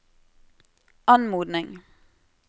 anmodning